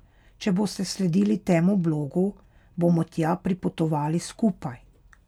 Če boste sledili temu blogu, bomo tja pripotovali skupaj.